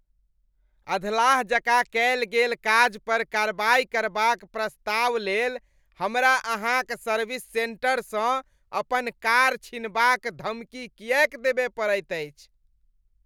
अधलाह जकाँ कएल गेल काज पर कार्रवाई करबाक प्रस्तावक लेल हमरा अहाँक सर्विस सेंटरसँ अपन कार छीनबाक धमकी कियैक देबय पड़ैत अछि?